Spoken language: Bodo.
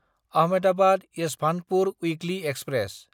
Ahmedabad Yesvantpur weekly express